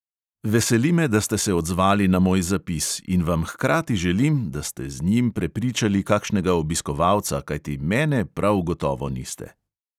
Veseli me, da ste se odzvali na moj zapis, in vam hkrati želim, da ste z njim prepričali kakšnega obiskovalca, kajti mene prav gotovo niste.